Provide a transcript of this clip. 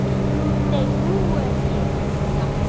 Nei, nú er ég hissa!